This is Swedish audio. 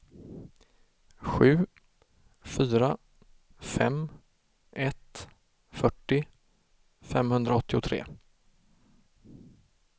sju fyra fem ett fyrtio femhundraåttiotre